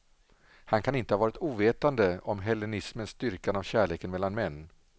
Han kan inte ha varit ovetande om hellenismens dyrkan av kärleken mellan män.